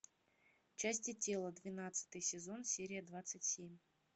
части тела двенадцатый сезон серия двадцать семь